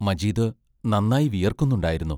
മജീദ് നന്നായി വിയർക്കുന്നുണ്ടായിരുന്നു.